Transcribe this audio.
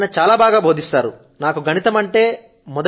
నాకు మొదటి నుండి నాకు గణితం అంటేనే మక్కువ గా ఉంటూ వచ్చింది